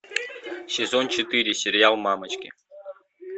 сезон четыре сериал мамочки